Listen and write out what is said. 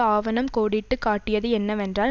ஆவணம் கோடிட்டு காட்டியது என்னவென்றால்